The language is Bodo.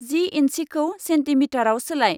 जि इन्सिखौ सेन्टिमिटाराव सोलाय।